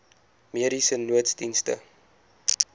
mediese nooddienste